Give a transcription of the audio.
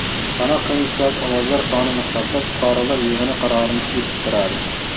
Sanoq komissiyasi ovozlar sonini hisoblab, fuqarolar yig‘ini qarorini eshittiradi.